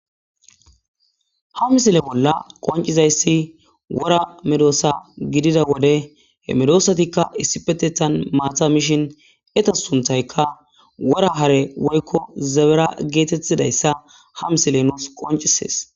Ha misile bolla qoncizayssi wora medoosa gidida wode he medosatikka issipetethan maatha mishin eta sunthayka wora hare woykko zabera geetettidayssa ha misile nuus qoncisees